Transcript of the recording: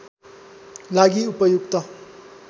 लागि उपयुक्त